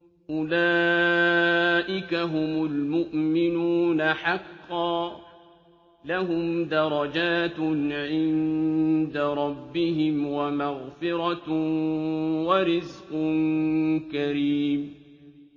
أُولَٰئِكَ هُمُ الْمُؤْمِنُونَ حَقًّا ۚ لَّهُمْ دَرَجَاتٌ عِندَ رَبِّهِمْ وَمَغْفِرَةٌ وَرِزْقٌ كَرِيمٌ